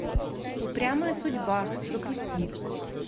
упрямая судьба запусти